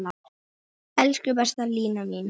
Elsku besta Lína mín.